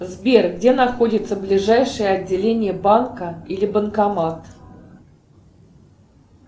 сбер где находится ближайшее отделение банка или банкомат